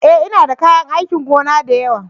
E! Ina da kayan aikin gona da yawa.